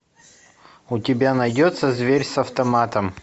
у тебя найдется зверь с автоматом